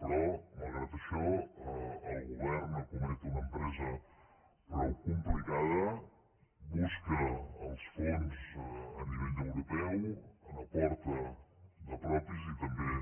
però malgrat això el govern escomet una empresa prou complicada busca els fons a nivell europeu n’aporta de propis i també